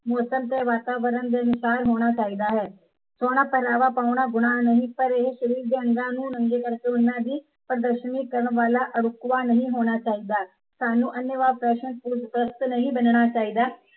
ਮੋਸਮ ਤੇ ਵਾਤਾਵਰਣ ਦੇ ਅਨੁਸਾਰ ਹੋਣਾ ਚਾਹੀਦਾ ਹੈ ਸੋਹਣਾ ਪਹਿਰਾਵਾ ਪਾਉਣਾ ਗੁਨਾਹ ਨਹੀਂ ਪਰ ਇਹ ਸ਼ਰੀਰ ਦੇ ਅੰਗ ਨੂੰ ਨੰਗੇ ਕਰਕੇ ਉਨਾਂ ਦੀ ਪ੍ਰਦਰਸ਼ਨੀ ਕਰਨ ਵਾਲਾ ਰੁਤਬਾ ਨਹੀਂ ਹੋਣਾ ਚਾਹੀਦਾ ਸਾਨੂੰ ਅੰਨੇਵਾਹ ਫੈਸ਼ਨ ਫ਼ਜ਼ੂਲ ਪ੍ਰਸਤ ਨਹੀਂ ਹੋਣਾ ਚਾਹੀਦਾ